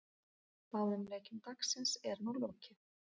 Báðum leikjum dagsins er nú lokið.